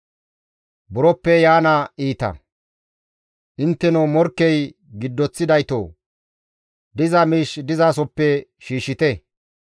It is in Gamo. Intteno morkkey giddoththidaytoo! Diza miish dizasoppe shiishshite.